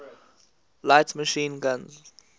light machine guns